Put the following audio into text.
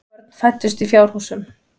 Börn fæddust í fjárhúsum.